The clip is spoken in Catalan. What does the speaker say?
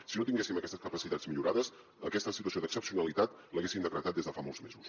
si no tinguéssim aquestes capacitats millorades aquesta situació d’excepcionalitat l’haguéssim decretat des de fa molts mesos